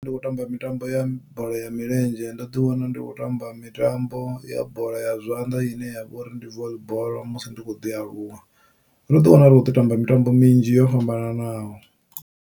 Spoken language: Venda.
Ndi tshi khou tamba mitambo ya bola ya milenzhe ndo ḓi wana ndi kho tamba mitambo ya bola ya zwanḓa ine yavha uri ndi voli bola musi ndi kho ḓi aluwa ndo ḓi wana ri khou ḓi tamba mitambo minzhi yo fhambananaho.